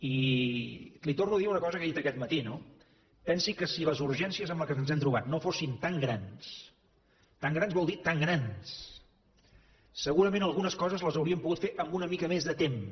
i li torno a dir una cosa que he dit aquest matí no pensi que si les urgències amb què ens hem trobat no fossin tan grans tan grans vol dir tan grans segurament algunes coses les hauríem pogut fer amb una mica més de temps